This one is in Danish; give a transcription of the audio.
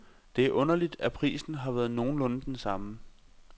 Det er underligt, at prisen har været nogenlunde den samme.